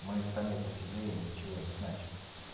мы сами по себе ничего не значим